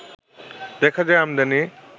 দেখা যায় আমদানি